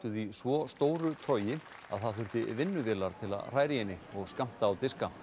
í svo stóru trogi að það þurfti vinnuvélar til þess að hræra í henni og skammta á diska